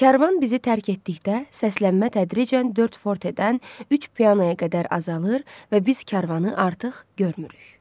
Kərvan bizi tərk etdikdə, səslənmə tədricən dörd fortedən üç pianoya qədər azalır və biz kərvanı artıq görmürük.